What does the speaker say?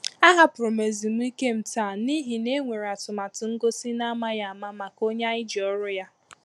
A hapụrụ m ezumike m taa n’ihi na enwere atụmatụ ngosi n’amaghị ama maka onye ànyị ji ọrụ́ ya